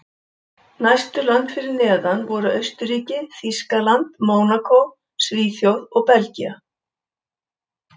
Næstu lönd fyrir neðan voru Austurríki, Þýskaland, Mónakó, Svíþjóð og Belgía.